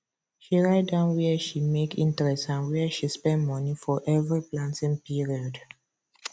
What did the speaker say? she write down wia she make interest and wia she spend money for every planting period